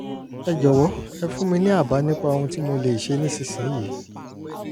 ẹ jọ̀wọ́ ẹ fún mi ní àbá nípa ohun tí mo lè ṣe nísinsìnyí!